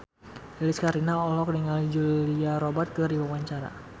Lilis Karlina olohok ningali Julia Robert keur diwawancara